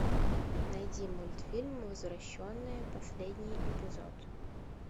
найди мультфильм возвращенные последний эпизод